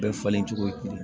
Bɛɛ falen cogo ye kelen ye